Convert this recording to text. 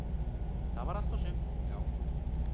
Það var allt og sumt, já.